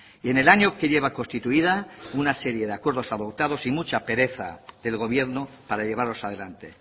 y en el año que lleva constituida una serie de acuerdos adoptados y mucha pereza del gobierno para llevarlos adelante